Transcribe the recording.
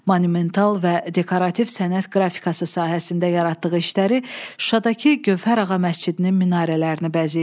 Monumental və dekorativ sənət qrafikası sahəsində yaratdığı işləri Şuşadakı Gövhərağa məscidinin minarələrini bəzəyir.